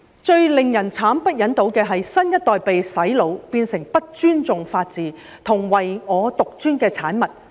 最令人慘不忍睹的是新一代被"洗腦"，變成不尊重法治及唯我獨尊的產物。